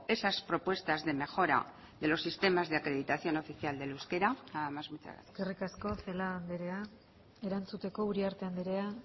esas propuestas de mejora de los sistemas de acreditación oficial del euskera nada más muchas gracias eskerrik asko celaá anderea erantzuteko uriarte anderea